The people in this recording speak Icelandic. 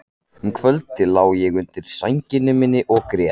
Um kvöldið lá ég undir sænginni minni og grét.